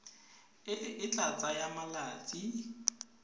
e e tla tsaya malatsi